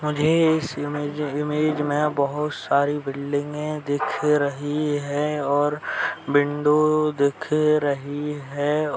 मुझे इस इमेज में बोहोत सारी बिल्डिंगे दिख रही है और विंडो दिख रही है।